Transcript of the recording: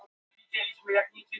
Kuldi hefur áhrif á olíuverð